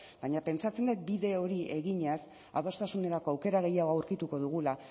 baina pentsatzen dut bide hori eginez adostasunerako aukera gehiago aurkituko dugula